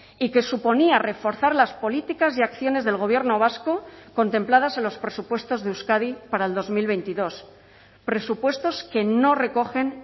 y que suponía reforzar las políticas y acciones del gobierno vasco contempladas en los presupuestos de euskadi para el dos mil veintidós presupuestos que no recogen